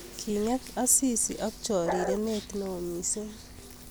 Kinget Asisi ak chorirenet neo missing